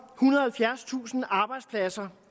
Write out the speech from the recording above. og halvfjerdstusind arbejdspladser